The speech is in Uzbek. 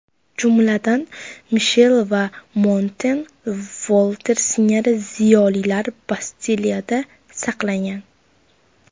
Jumladan, Mishel de Monten, Volter singari ziyolilar Bastiliyada saqlangan.